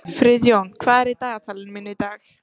Friðjón, hvað er í dagatalinu mínu í dag?